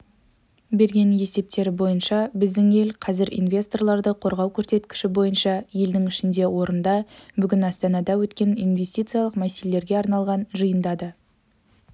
берген есептері бойынша біздің ел қазір инвесторларды қорғау көрсеткіші бойынша елдің ішінде орында бүгін астанада өткен инвестициялық мәселелерге арналған жиында да